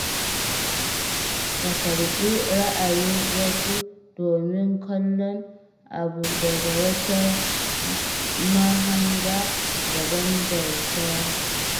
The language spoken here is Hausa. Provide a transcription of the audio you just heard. Ka karɓi ra'ayin wasu domin kallon abu daga wata mahanga daban da ta ka.